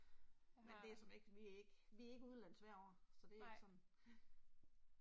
Men det er sådan ikke, vi er ikke, vi er ikke udenlands hvert år, så det er ikke sådan